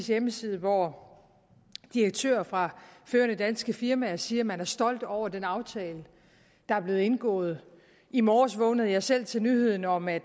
hjemmeside hvor direktører fra førende danske firmaer siger at man er stolt over den aftale der er blevet indgået i morges vågnede jeg selv til nyheden om at